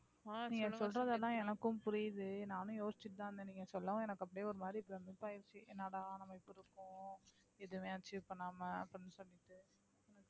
நீங்க சொல்றது எல்லாம் எனக்கும் புரியுது நானும் யோசிச்சிட்டுதான் இருந்தேன் நீங்க சொல்லவும் எனக்கு அப்படியே ஒரு மாதிரி ஆயிருச்சு என்னடா நம்ம இப்படி இருக்கோம் எதுமே achieve பண்ணாம அப்படின்னு சொல்லிட்டு